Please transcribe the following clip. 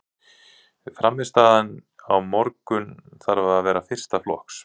Frammistaðan á morgun þarf að vera fyrsta flokks.